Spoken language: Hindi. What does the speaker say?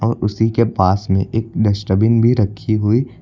उसी के पास में एक डस्टबिन भी रखी हुई--